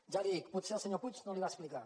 ja li ho dic potser el senyor puig no li ho va explicar